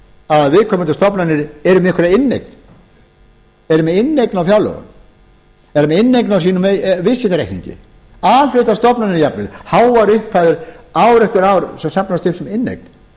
að viðkomandi stofnanir yrðu með einhverja inneign eru með inneign á fjárlögum eru með inneign á sínum viðskiptareikningi a hluta stofnanir jafnvel háar upphæðir ár eftir ár sem safnast upp sem